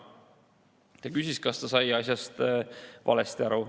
Ta küsis, kas ta on asjast valesti aru saanud.